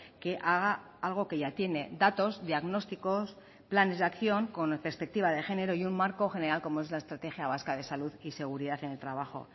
que haga algo que ya tiene datos diagnósticos planes de acción con perspectiva de género y un marco general como es la estrategia vasca de salud y seguridad en el trabajo